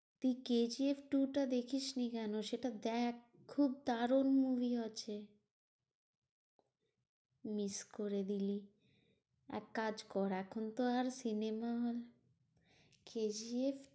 তুই K G F two টা দেখিসনি কেন? সেটা দেখ খুব দারুন movie আছে। miss করে দিলি। এক কাজ কর এখন তো আর cinema hall K G F